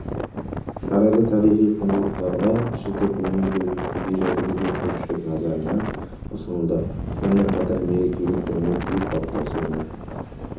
шарада тарихи құндылықтарға жіті көңіл бөлініп көне жәдігерлер көпшілік назарына ұсынылды сонымен қатар мерекелік көңіл-күй қалыптасуына